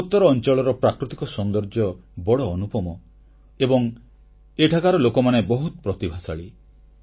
ପୂର୍ବୋତ୍ତର ଅଂଚଳର ପ୍ରାକୃତିକ ସୌନ୍ଦର୍ଯ୍ୟ ବଡ଼ ଅନୁପମ ଏବଂ ଏଠାକାର ଲୋକମାନେ ବହୁତ ପ୍ରତିଭାଶାଳୀ